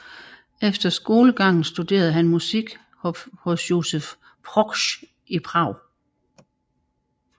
Efter skolegangen studerede han musik hos Josef Proksch i Prag